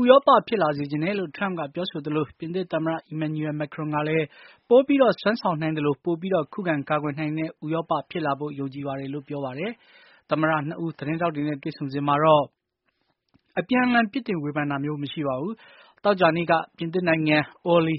ဥရောပ ဖြစ်လာစေချင်တယ်လို့ ထရမ့်ကပြောဆိုသလို ပြင်သစ်သမ္မတ Emmanuel Macron ကလည်း ပိုပြီးစွမ်းဆောင်နိုင်သလို ပိုပြီး ခုခံ ကာကွယ်နိုင်တဲ့ ဥရောပဖြစ်လာဖို့ ယုံကြည်ပါတယ်လို့ ပြောပါတယ်။ သမ္မတ ၂ ဦး သတင်းထောက်တွေနဲ့ တွေ့ဆုံစဉ်မှာတော့ အပြန်အလှန် ပြစ်တင်ဝေဖန်တာမျိုးမရှိပါဘူး။ သောကြာနေ့ညက ပြင်နိုင်ငံ Orly